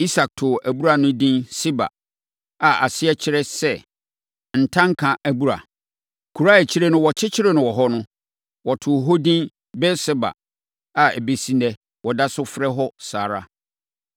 Isak too abura no edin Seba, a aseɛ kyerɛ sɛ “Ntanka abura.” Kuro a akyire no wɔkyekyeree wɔ hɔ no, wɔtoo hɔ edin Beer-Seba a ɛbɛsi ɛnnɛ, wɔda so frɛ hɔ saa ara.